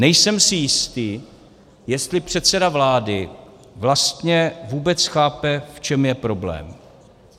Nejsem si jistý, jestli předseda vlády vlastně vůbec chápe, v čem je problém.